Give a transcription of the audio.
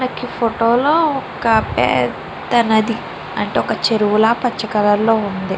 నాక ఈ ఫోటో ఒక పేద నది అంటే చెరువు పచ కలర్ లో ఉంది.